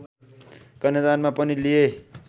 कन्यादानमा पनि लिए